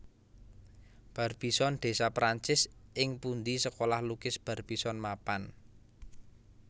Barbizon desa Perancis ing pundi Sekolah Lukis Barbizon mapan